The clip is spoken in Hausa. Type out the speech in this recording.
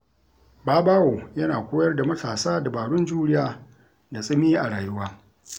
Babawo yana koyar da matasa dabarun juriya da tsimi a rayuwa.